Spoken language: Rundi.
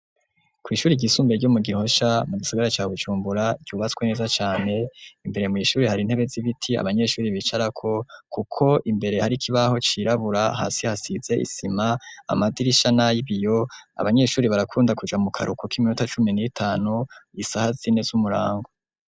Kw'ishuri ryisumbiye ryo mu Gihosha mu gisigara ca Bujumbura ryubatswe neza cane, imbere mw'ishuri hari intebe z'ibiti abanyeshuri bicarako, kuko imbere hari kibaho cirabura, hasi hasize isima, amadirisha na y'ibiyo abanyeshuri barakunda kuja mu karuhuko k'iminota cumi n'itanu isaha sine z'umurango.